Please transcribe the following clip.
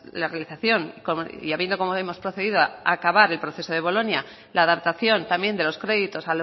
la realización y habiendo como hemos procedido acabar el proceso de bolonia la adaptación también de los créditos